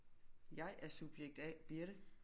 Jeg er subjekt A Birthe